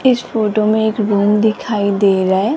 इस फोटो में एक रुम दिखाई दे रहा है।